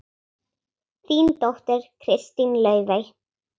Þín dóttir, Kristín Laufey.